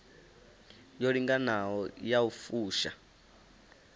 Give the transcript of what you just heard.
yo linganaho ya u fusha